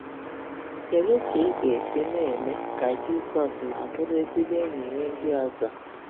kedu ka ị ga-esi na-eme ka Jizọs ma bụrụ ezigbo enyi nye ndị ọzọ